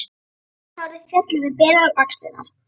Sítt hárið féll yfir berar axlirnar.